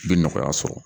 I bɛ nɔgɔya sɔrɔ